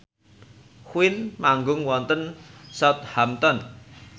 Queen manggung wonten Southampton